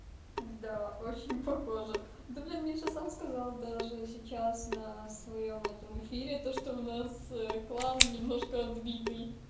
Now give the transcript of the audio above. да очень похожа да блин мне сам сказал даже сейчас на своём этом эфире то что у нас клан немножко отбитый